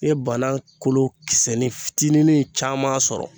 I ye bana kolo kisɛnin fitinin caman sɔrɔ.